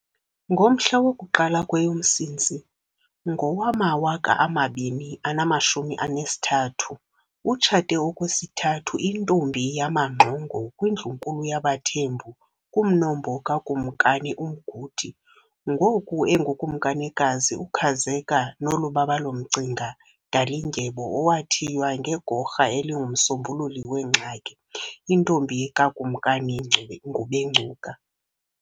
Ngomhla woku-1 kweyoMsintsi ngowama2023 utshate okwesithandathu intombi yamamaNgxongo kwiNdlunkulu yaBathembu kumnombo kaKumkani uMguti, ngoku enguKumkanikazi uKhazeka Nolubabalo Mcinga Dalindyebo owathiywa ngegorha elingumsombululi wengxaki, intombi kaKumkani uNgubencuka.